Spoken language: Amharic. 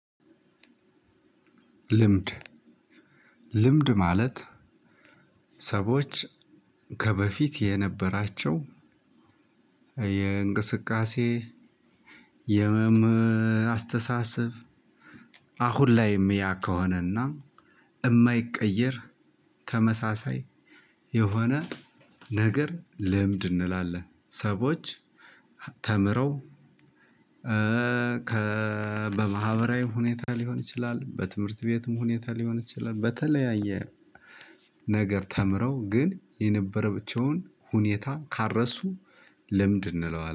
ልምድ ልምድ ማለት ሰቦች ከበፊት የነበራቸው የእንቅስቃሴ የመም አስተሳሰብ አሁን ላይም ያ ከሆነና እማይቀየር ተመሳሳይ የሆነ ነገር ልምድ እንላለን። ሰዎች ተምረው ከ በማህበራዊ ሁኔታ ሊሆን ይችላል። በትምህርት ቤትም ሁኔታ ሊሆን ይችላል። በተለያየ ነገር ተምረው ግን የነበረ አቸውን ሁኔታ ካረሱ ለምድ እንለዋለን